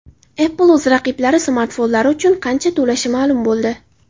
Apple o‘z raqiblari smartfonlari uchun qancha to‘lashi ma’lum bo‘ldi.